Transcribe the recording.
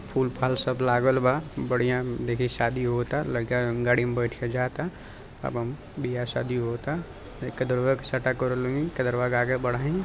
फूल फाल सब लागल बा बढ़िया देखी शादी होअता लइका गाड़ी मे बैठ के जाएता एवं ब्याह शादी होअता --